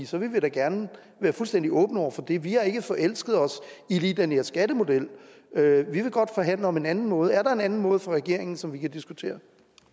så vil vi da gerne være fuldstændig åbne over for det vi har ikke forelsket os i lige den her skattemodel vi vil godt forhandle om en anden måde er der en anden måde fra regeringen som vi kan diskutere